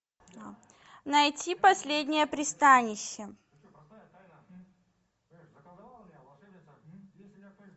найти последнее пристанище